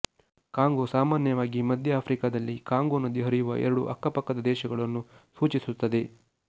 Congo ಸಾಮಾನ್ಯವಾಗಿ ಮಧ್ಯ ಆಫ್ರಿಕಾದಲ್ಲಿ ಕಾಂಗೊ ನದಿ ಹರಿಯುವ ಎರಡು ಅಕ್ಕಪಕ್ಕದ ದೇಶಗಳನ್ನು ಸೂಚಿಸುತ್ತದೆ